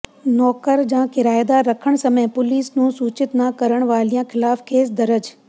ਨੌਕਰ ਜਾਂ ਕਿਰਾਏਦਾਰ ਰੱਖਣ ਸਮੇਂ ਪੁਲੀਸ ਨੂੰ ਸੂਚਿਤ ਨਾ ਕਰਨ ਵਾਲਿਆਂ ਖ਼ਿਲਾਫ਼ ਕੇਸ ਦਰਜ